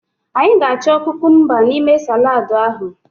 Anyị ga-achọ kukumba n'ime saladu ahụ.